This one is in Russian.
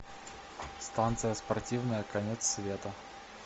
станция спортивная конец света